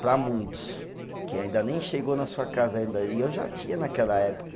Para muitos, que ainda nem chegou na sua casa ainda, e eu já tinha naquela época.